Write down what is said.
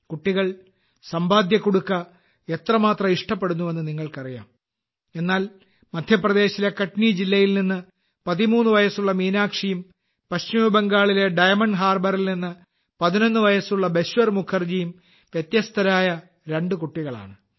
കുട്ടികൾ സമ്പാദ്യകുടുക്ക piggy bank എത്രമാത്രം ഇഷ്ടപ്പെടുന്നുവെന്ന് നിങ്ങൾക്കറിയാം എന്നാൽ മദ്ധ്യപ്രദേശിലെ കട്നി ജില്ലയിൽ നിന്ന് 13 വയസ്സുള്ള മീനാക്ഷിയും പശ്ചിമ ബംഗാളിലെ ഡയമണ്ട് ഹാർബറിൽ നിന്ന് 11 വയസ്സുള്ള ബശ്വർ മുഖർജിയും വ്യത്യസ്തരായ രണ്ടു കുട്ടികളാണ്